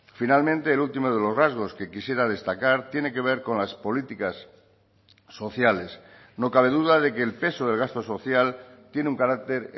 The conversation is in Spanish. finalmente el último de los rasgos que quisiera destacar tiene que ver con las políticas sociales no cabe duda de que el peso del gasto social tiene un carácter